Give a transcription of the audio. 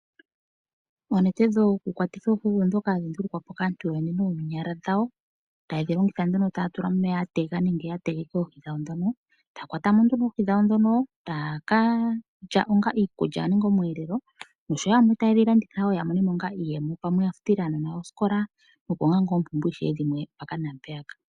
Oonete dhokukwatitha oohi oondhoka hadhi ndulukwa po kaantu yoyene noonyala dhawo taye dhilongitha nduno yatula mo omeya ya tega nenge yategeka oohi dhawo ndhono. Taya kwatamo ano oohi dhawo ndhono taya kalya onga iikulya oshowo omweelelo nosho wo ano taye dhilanditha wo yamone mo onga iiyemo, pamwe ya futile aanona yawo osikola opo manga oompumbwe ishewe dhimwe mpaka naampeyaka.